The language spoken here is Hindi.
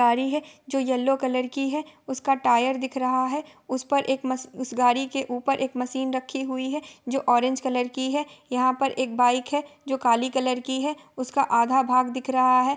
गाड़ी है जो येल्लो कलर की है उसका टायर दिख रहा है| उस पर एक मश उस गाड़ी के ऊपर एक मशीन रखी हुई है जो ऑरेंज कलर की है| यहाँ पर एक बाइक है जो काली कलर की है उसका आधा भाग दिख रहा है।